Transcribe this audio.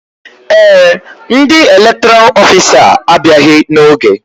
Ee, ndị elektoral ofisa a abịaghị n'oge